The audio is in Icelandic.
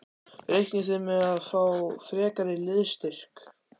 Reiknið þið með að fá frekari liðsstyrk?